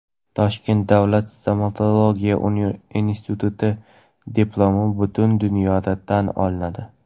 Toshkent davlat stomatologiya instituti diplomi butun dunyoda tan olinadi.